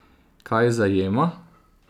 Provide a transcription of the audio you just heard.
Kaj zajema?